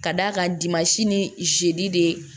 Ka d'a kan dimansi ni ziide